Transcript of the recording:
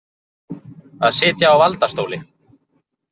Að sitja á valdastóli